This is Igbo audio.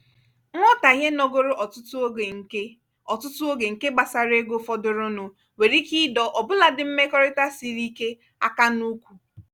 nghọtahie nogoro ọtụtụ oge nke ọtụtụ oge nke gbasara ego fọdụrụnụ nwere ike ịdọ ọbụladị mmekọrịta siri ike áká n'ụkwụ.